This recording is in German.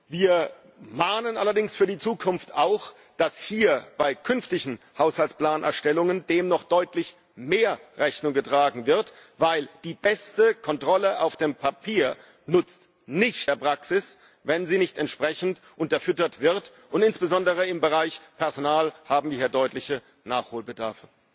Wir mahnen allerdings für die Zukunft auch, dass dem hier bei künftigen Haushaltsplanerstellungen noch deutlich stärker Rechnung getragen wird, denn die beste Kontrolle auf dem Papier nutzt in der Praxis nichts, wenn sie nicht entsprechend unterfüttert wird, und insbesondere im Bereich Personal haben wir hier deutlichen Nachholbedarf.